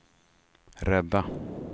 rädda